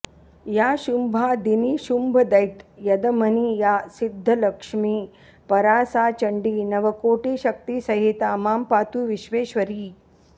या शुम्भादिनिशुम्भदैत्यदमनी या सिद्धलक्ष्मी परा सा चण्डी नवकोटिशक्तिसहिता मां पातु विश्वेश्वरी